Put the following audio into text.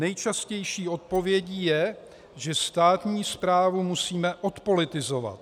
Nejčastější odpovědí je, že státní správu musíme odpolitizovat.